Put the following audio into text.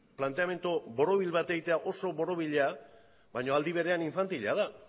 planteamendu borobil bat egitea oso borobila baino aldi berean infantila da